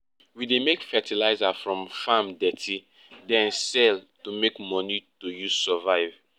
we dey make fertilizer from farm dirty den sell to make money to use survive